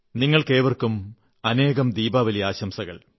നിങ്ങൾക്കേവർക്കും അനേകം ദീപാവലി ആശംസകൾ